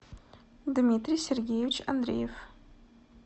дмитрий сергеевич андреев